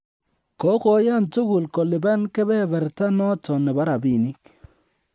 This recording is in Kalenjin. Kogoyan tugul kolipan kebeberta noton bo rabinik